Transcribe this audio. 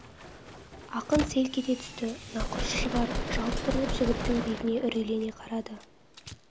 ақын селк ете түсті нақұрыс шығар жалт бұрылып жігіттің бетіне үрейлене қарады